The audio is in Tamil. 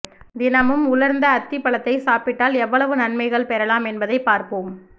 தினமும் உலர்ந்த அத்திப்பழத்தை சாப்பிட்டால் எவ்வளவு நன்மைகள் பெறலாம் என்பதை பார்ப்போம்